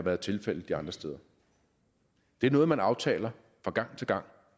er tilfældet andre steder det er noget man aftaler fra gang til gang